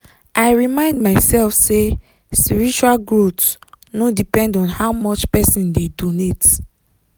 i remind myself say spiritual growth no depend on how much person dey donate.